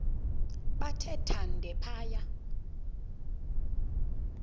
bathe thande phaya